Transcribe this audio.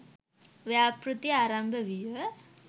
ව්‍යාපෘති ආරම්භ විය.